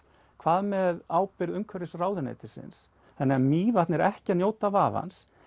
hvað með ábyrgð umhverfisráðuneytisins þannig að Mývatn er ekki að njóta vafans